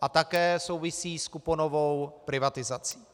a také souvisí s kuponovou privatizací.